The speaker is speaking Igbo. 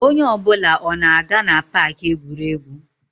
Onye ọ bụla ọ na-aga na Pááki egwuregwu?